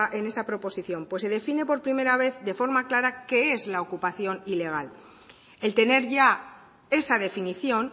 en esa proposición se define por primera vez de forma clara qué es la ocupación ilegal el tener ya esa definición